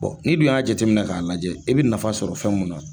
N'i dun y'a jateminɛ k'a lajɛ i bi nafa sɔrɔ fɛn mun na.